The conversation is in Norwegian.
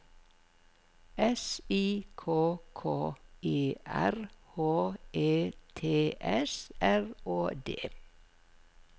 S I K K E R H E T S R Å D